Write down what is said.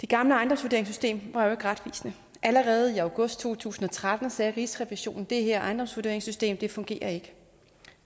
det gamle ejendomsvurderingssystem var jo ikke retvisende allerede i august to tusind og tretten sagde rigsrevisionen at det her ejendomsvurderingssystem fungerer ikke